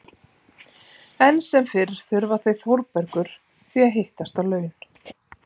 Enn sem fyrr þurfa þau Þórbergur því að hittast á laun.